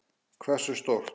Hversu stórt?